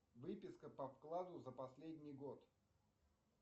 выписка по вкладу за последний год